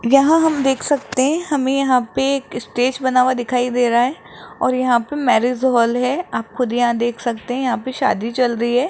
यहां हम देख सकते हैं हमें यहां पे एक स्टेज बना हुआ दिखाई दे रहा है और यहां पे मैरिज हॉल है आप खुद यहां देख सकते हैं यहां पे शादी चल रही है।